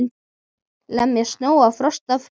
Lemja snjó og frost af bátnum.